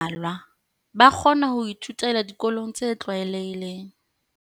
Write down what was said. Ho na le ba mmalwa ba kgona ho ithutela dikolong tse tlwaelehileng.